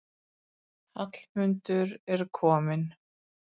Hallmundur er kominn.